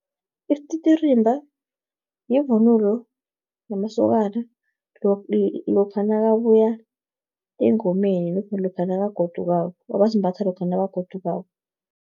Isititirimba, yivunulo yamasokana, lokha nakabuya engomeni, abasimbatha lokha nabagodukako.